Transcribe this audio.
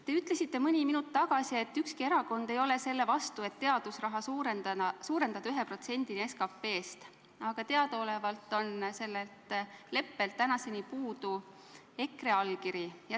Te ütlesite mõni minut tagasi, et ükski erakond ei ole selle vastu, et teadusraha osakaalu suurendada 1%-ni SKP-st, aga teadaolevalt on sellelt leppelt tänaseni puudu EKRE allkiri.